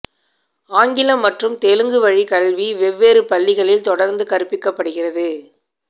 ஆங்கிலம் மற்றும் தெலுங்கு வழிக் கல்வி வெவ்வேறு பள்ளிகளில் தொடர்ந்து கற்பிக்கப்படுகிறது